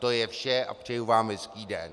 To je vše a přeji vám hezký den.